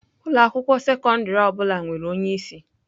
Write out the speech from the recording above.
Ụlọ akwụkwọ sekọndrị ọ bụla nwere onye isi.